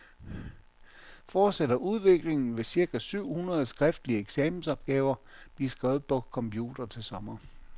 Fortsætter udviklingen, vil cirka syv hundrede skriftlige eksamensopgaver blive skrevet på computer til sommer.